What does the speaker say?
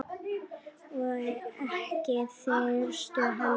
Og ekki þyrst heldur.